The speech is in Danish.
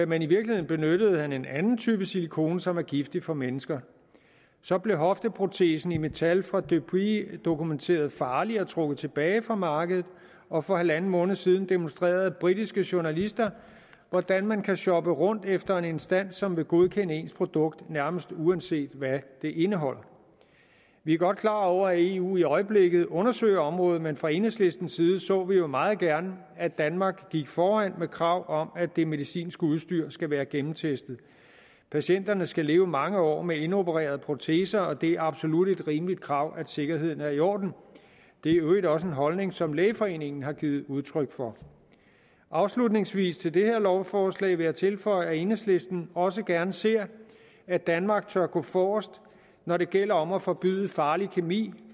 men i virkeligheden benyttede han en anden type silikone som er giftig for mennesker så blev hofteprotesen af metal fra depuy dokumenteret farlig og trukket tilbage fra markedet og for halvanden måned siden demonstrerede britiske journalister hvordan man kan shoppe rundt efter en instans som vil godkende ens produkt nærmest uanset hvad det indeholder vi er godt klar over at eu i øjeblikket undersøger området men fra enhedslistens side så vi jo meget gerne at danmark gik foran med krav om at det medicinske udstyr skal være gennemtestet patienterne skal leve mange år med indopererede proteser og det er absolut et rimeligt krav at sikkerheden er i orden det er i øvrigt også en holdning som lægeforeningen har givet udtryk for afslutningsvis til det her lovforslag vil jeg tilføje at enhedslisten også gerne ser at danmark tør gå forrest når det gælder om at forbyde farlig kemi